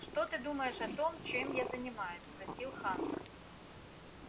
что ты думаешь о том чем я занимаюсь спросил хантер